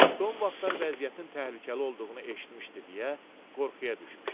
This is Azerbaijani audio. Son vaxtlar vəziyyətin təhlükəli olduğunu eşitmişdi deyə qorxuya düşmüşdü.